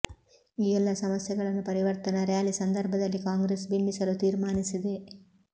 ಈ ಎಲ್ಲಾ ಸಮಸ್ಯೆಗಳನ್ನು ಪರಿವರ್ತನಾ ರ್ಯಾಲಿ ಸಂದರ್ಭದಲ್ಲಿ ಕಾಂಗ್ರೆಸ್ ಬಿಂಬಿಸಲು ತೀರ್ಮಾನಿಸಿದೆ